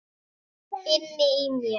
Inni í mér.